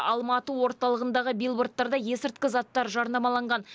алматы орталығындағы билбордтарда есірткі заттар жарнамаланған